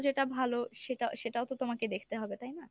যেটা ভালো সেটা~ সেটাও তো তোমাকে দেখতে হবে তাই না?